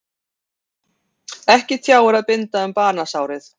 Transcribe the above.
Ekki tjáir að binda um banasárið.